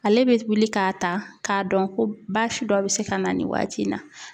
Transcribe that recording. Ale bɛ wuli k'a ta k'a dɔn ko baasi dɔ bɛ se ka na nin waati in na.